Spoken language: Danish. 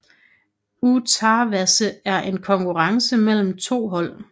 Utaawase var en konkurrence mellem to hold